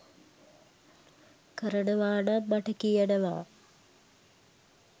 කරනවා නම් මට කියනවා.